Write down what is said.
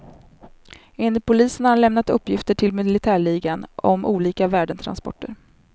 Enligt polisen har han lämnat uppgifter till militärligan om olika värdetransporter.